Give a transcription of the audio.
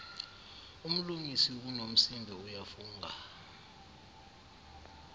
umlungisi unomsindo uyafunga